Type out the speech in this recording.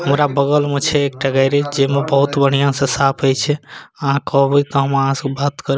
हमरा बगल में छै एकटा गैरेज जेमे बहुत बढ़िया से साफ होय छै आहां कहबे ते आहां से हम बात --